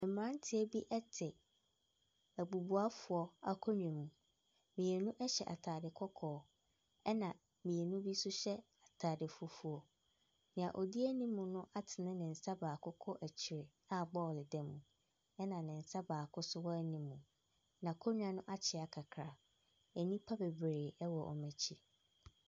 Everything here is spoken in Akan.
Mmeranteɛ bi te abubuafoɔ akonnwa mu. Mmienu hyɛ atade kɔkɔɔ, ɛna mmienu bi nso hyɛ atade fufuo. Deɛ ɔdi anim no atene ne nsa baako kɔ akyire a bɔɔlo da mu, ɛna ne nsa baako nso wɔ anim. N'akonnwa no akyea kakra. Nnipa bebree wɔ wɔn akyi.